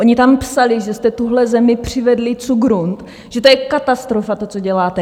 Oni tam psali, že jste tuhle zemi přivedli cugrunt, že to je katastrofa, to, co děláte.